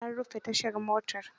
An rufe tashar motar.